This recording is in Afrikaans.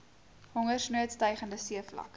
hongersnood stygende seevlakke